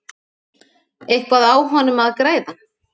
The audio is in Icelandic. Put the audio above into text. Eitthvað á honum að græða?